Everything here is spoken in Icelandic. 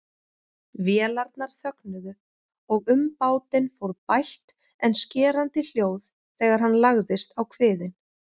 Vélarnar þögnuðu og um bátinn fór bælt en skerandi hljóð þegar hann lagðist á kviðinn.